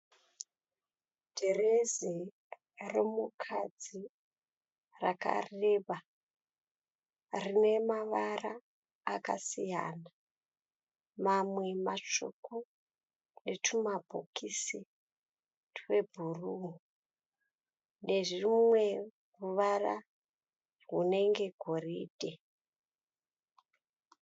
Dhirezi romukadzi rakareba, rine mavara akasiyana mamwe matsvuku netumabhokisi twebhuruu nezvimwe. ruvara runenge goridhe.